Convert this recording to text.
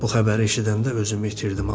Bu xəbəri eşidəndə özümü itirdim.